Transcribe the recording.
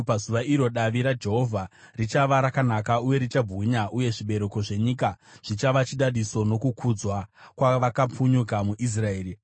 Pazuva iro, davi raJehovha richava rakanaka uye richabwinya, uye zvibereko zvenyika zvichava chidadiso nokukudzwa kwavakapunyuka muIsraeri.